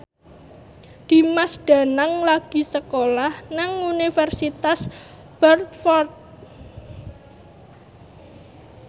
Dimas Danang lagi sekolah nang Universitas Bradford